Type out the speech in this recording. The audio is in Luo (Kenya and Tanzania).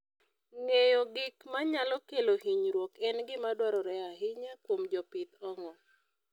Ng'eyo gik manyalo kelo hinyruok en gima dwarore ahinya kuom jopith ong'o.